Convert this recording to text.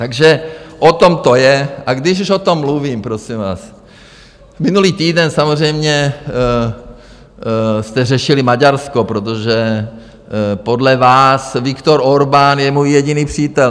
Takže o tom to je, a když už o tom mluvím, prosím vás, minulý týden samozřejmě jste řešili Maďarsko, protože podle vás Viktor Orbán je můj jediný přítel.